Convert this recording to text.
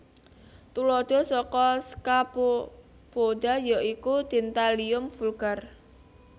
Tuladha saka Scaphopoda yaiku Dentalium vulgare